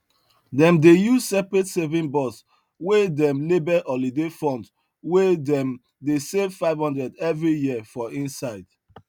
dem dey use separate saving box wey dem label holiday fund wey dem dey save 500 every year for inside